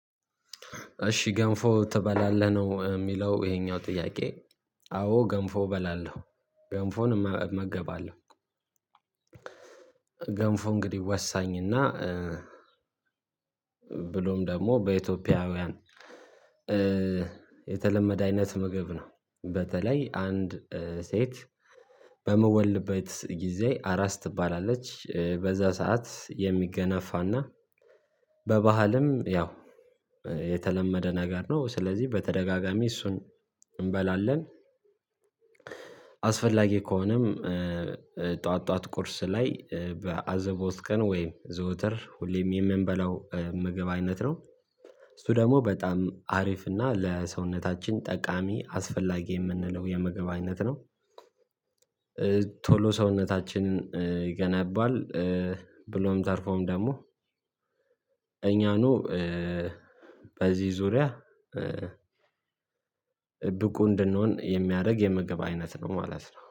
እሺ ገንፎ ትበላለህ ነው ሚለው ይሄኛው ጥያቄ? አዎ ገንፎ እበላለሁ ገንፎን እመገባለሁ። ገንፎ እንግዲህ ወሳኝና ብሎም ደግሞ በኢትዮጵያውያን የተለመደ አይነት ምግብ ነው። በተለይ አንድ ሴት በምወልድበት ጊዜ አራስ ትባላለች በዛ ሰዓት የሚገነፋና በባህልም ያው የተለመደ ነገር ነው ስለዚህ በተደጋጋሚ እሱን እምበላለን። አስፈላጊ ከሆነም ጠዋት ጠዋት ቁርስ ላይ በአዘቦት ቀን ወይም ዘወትር ሁሌም የምንበላው ምግብ አይነት ነው። እሱ ደግሞ በጣም አሪፍ እና ለሰውነታችን ጠቃሚ አስፈላጊ የምንለው የምግብ አይነት ነው። ቶሎ ሰውነታችንን ይገነባል። ብሎም ተርፎም ደግሞ እኛኑ በዚህ ዙሪያ ብቁ እንድንሆን የሚያረግ የምግብ አይነት ነው ማለት ነው